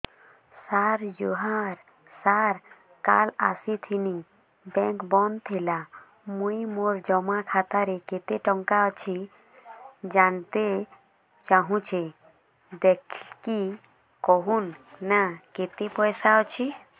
ସାର ଜୁହାର ସାର କାଲ ଆସିଥିନି ବେଙ୍କ ବନ୍ଦ ଥିଲା ମୁଇଁ ମୋର ଜମା ଖାତାରେ କେତେ ଟଙ୍କା ଅଛି ଜାଣତେ ଚାହୁଁଛେ ଦେଖିକି କହୁନ ନା କେତ ପଇସା ଅଛି